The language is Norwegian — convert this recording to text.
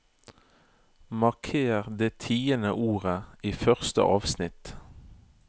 Marker det tiende ordet i første avsnitt